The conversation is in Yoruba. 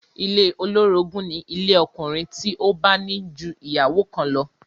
Ilé olórogún ni ilé ọkùnrin tí ó bá ní ju ìyàwó kan lọ